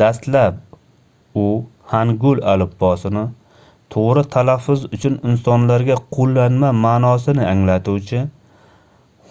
dastlab u hangul alifbosini toʻgʻri talaffuz uchun insonlarga qoʻllanma maʼnosini anglatuvchi